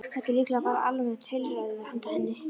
Þetta er líklega bara almennt heilræði handa henni.